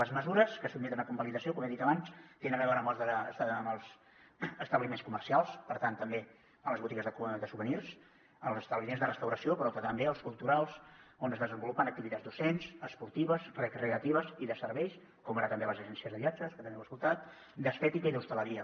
les mesures que es sotmeten a convalidació com he dit abans tenen a veure amb els establiments comercials per tant també amb les botigues de souvenirs amb els establiments de restauració però també els culturals on es desenvolupen activitats docents esportives recreatives i de serveis com ara també les agències de viatges que també heu escoltat d’estètica i d’hostaleria